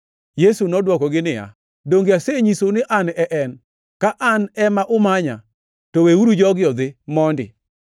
Yesu nodwokogi niya, “Donge asenyisou ni An e En. Ka an ema umanya, to weuru jogi odhi mondi.”